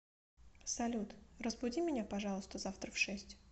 салют разбуди меня пожалуйста завтра в шесть